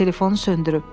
Telefonu söndürüb.